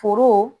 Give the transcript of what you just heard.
Foro